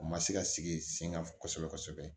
U ma se ka sigi sen kan kosɛbɛ kosɛbɛ